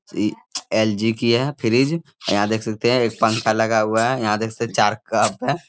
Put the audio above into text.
LG है fridge और यहाँ देख सकते है एक पंखा लगा हुआ है यहाँ देख सकते चार कप है ।